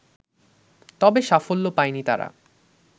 তবে সাফল্য পায়নি তারা